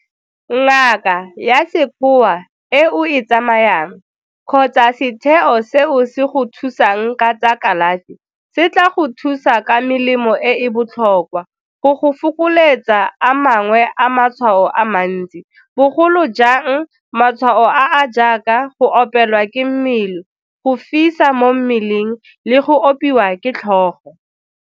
Ngaka ya sekgowa e o e tsamayang kgotsa setheo seo se go thusang ka tsa kalafi se tla go thusa ka melemo e e botlhokwa go go fokoletsa a mangwe a matshwao a mantsi, bogolo jang matshwao a a jaaka go opelwa ke mmele, go fisa mo mmeleng le go opiwa ke tlhogo.